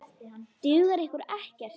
Dugar ykkur ekkert?